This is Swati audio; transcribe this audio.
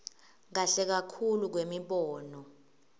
kahle kakhulu kwemibono